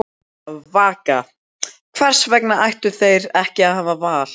Vaka: Hvers vegna ættu þeir ekki að hafa val?